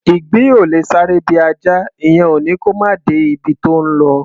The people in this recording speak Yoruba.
Ìgbín ò lè sáré bí Ajá; ìyẹn ò ní kó máà de ibi tó ńlọ.